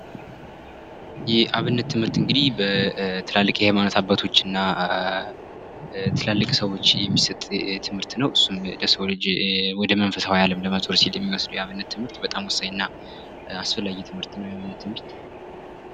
የአብነት ትምህርት እንግዲህ በትልቅ የሃይማኖት አባቶችና በትላልቅ ሰወች የሚሰጥ ትምህርት ነው እሱም ለሰው ልጅ ወደ መንፈሳዊ አለም ለመዞር የሚወስደው ትምህርት በጣም ወሳኝና አስፈላጊ ትምህርት ነው የአብነት ትምህርት።